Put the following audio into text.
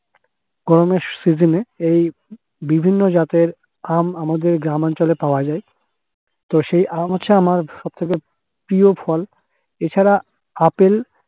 গরমের season -এ এই বিভিন্ন জাতের আম আমাদের গ্রামাঞ্চলে পাওয়া যায়। তো সে আম হচ্ছে আমার সবথেকে প্রিয় ফল, এছাড়া আপেল